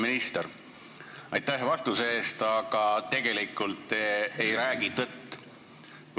Hea minister, aitäh vastuse eest, aga tegelikult te ei räägi tõtt.